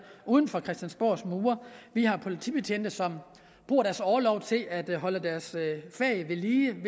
uden for christiansborgs mure vi har politibetjente som bruger deres orlov til at holde deres fag ved lige ved